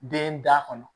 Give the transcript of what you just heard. Den da kɔnɔ